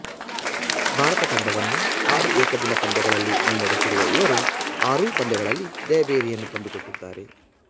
ಭಾರತ ತಂಡವನ್ನು ಆರು ಏಕದಿನ ಪಂದ್ಯಗಳಲ್ಲಿ ಮುನ್ನಡೆಸಿರುವ ಇವರು ಆರೂ ಪಂದ್ಯಗಳಲ್ಲಿ ಜಯಭೇರಿಯನ್ನು ತಂದುಕೊಟ್ಟಿದ್ದಾರೆ